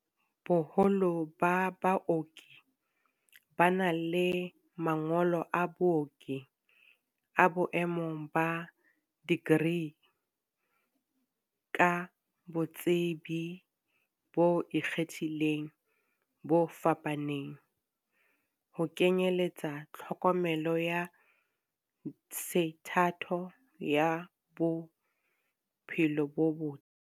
Boholo ba baoki ba na le ma ngolo a booki a boemo ba dikri, ka botsebi bo ikgethileng bo fapaneng, ho kenyeletsa tlhokomelo ya sethatho ya bo phelo bo botle.